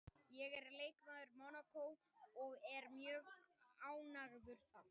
Ég er leikmaður Mónakó og ég er mjög ánægður þar